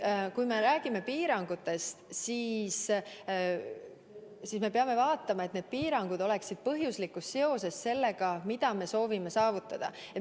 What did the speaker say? Kui me räägime piirangutest, siis me peame vaatama, et need oleksid põhjuslikus seoses sellega, mida me soovime saavutada.